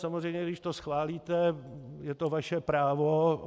Samozřejmě když to schválíte, je to vaše právo.